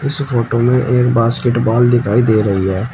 इस फोटो में एक बास्केटबॉल दिखाई दे रही है।